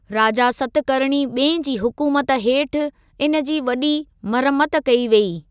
राजा सतकर्णी ॿिएं जी हुकुमत हेठि इन जी वॾी मरम्मत कई वेई।